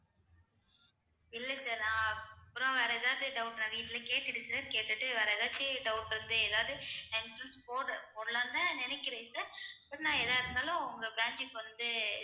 இல்லை sir நான் அப்புறம் வேற ஏதாச்சும் doubt நான் வீட்டுல கேட்டுடு sir கேட்டுட்டு வேற எதாச்சு doubt வந்து ஏதாவது நான் insurance போட~ போடலாம்னுதான் நினைக்கிறேன் sir அப்புறம் நான் எதா இருந்தாலும் உங்க bank க்கு வந்து